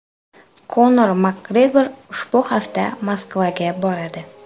Konor Makgregor ushbu hafta Moskvaga boradi.